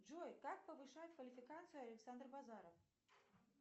джой как повышает квалификацию александр базаров